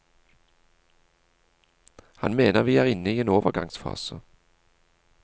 Han mener vi er inne i en overgangsfase.